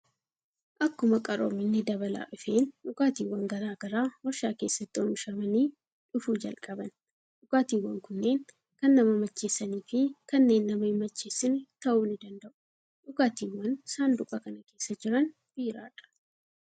Akkuma qaroominni dabalaa dhufeen dhugaatiiwwan garaa garaa waarshaa keessatti oomishamanii dhufuu jalqaban. Dhugaatiiwwan kunneen kan nama macheessanii fi kanneen nama hin macheessine ta'uu ni danda'u. Dhugaatiiwwan saanduqa kana keessa jiran biiraadha.